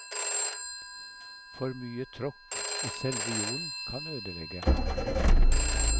For mye tråkk i selve jorden kan ødelegge.